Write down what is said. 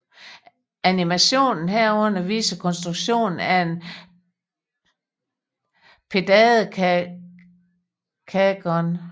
Animationen herunder viser konstruktionen af en pentadekagon